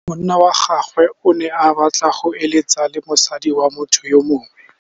Monna wa gagwe o ne a batla go êlêtsa le mosadi wa motho yo mongwe.